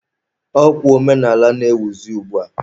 Ọ kwa omenaala na-ewuzi ugbua.